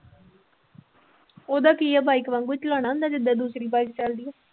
ਉਹਦਾ ਕੀ ਆ bike ਵਾਂਗੂ ਚਲਾਉਣਾ ਹੁੰਦਾ ਜਿੱਦਾਂ ਦੂਸਰੀ bike ਚੱਲਦੀ ਆ।